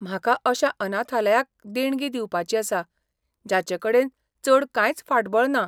म्हाका अशा अनाथालयाक देणगी दिवपाची आसा जाचेकडेन चड कांयच फाटबळ ना.